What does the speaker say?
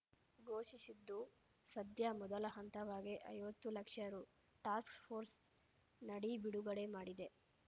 ಘೋಷಿಸಿದ್ದು ಸದ್ಯ ಮೊದಲ ಹಂತವಾಗಿ ಐವತ್ತು ಲಕ್ಷ ರು ಟಾಸ್ಕ್‌ಫೋರ್ಸ್‌ ನಡಿ ಬಿಡುಗಡೆ ಮಾಡಿದೆ